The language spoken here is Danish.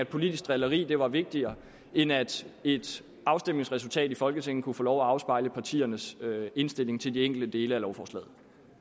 politisk drilleri var vigtigere end at et afstemningsresultat i folketinget kunne få lov at afspejle partiernes indstilling til de enkelte dele af lovforslaget